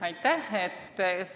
Aitäh!